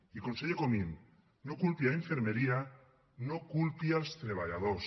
i conseller comín no culpi infermeria no culpi els treballadors